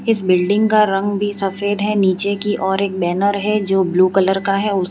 इस बिल्डिंग का रंग भी सफेद है नीचे की और एक बैनर है जो ब्लू कलर का है उस --